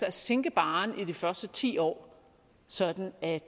at sænke barren i de første ti år sådan at